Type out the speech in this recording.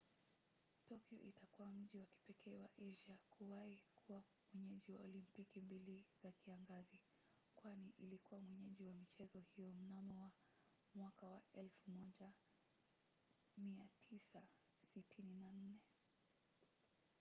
tokyo itakuwa mji wa kipekee wa asia kuwahi kuwa mwenyeji wa olimpiki mbili za kiangazi kwani ilikuwa mwenyeji wa michezo hiyo mnamo 1964